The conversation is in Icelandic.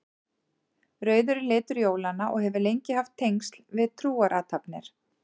Rauður er litur jólanna og hefur lengi haft tengsl við trúarathafnir.